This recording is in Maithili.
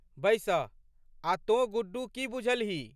बैसह। आ' तोँ गुड्डू की बुझलहीं?